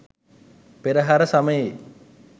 පෙරහර සමයේ